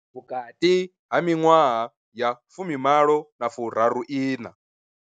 Vhukati ha miṅwaha ya fumi malo na furaru iṋa.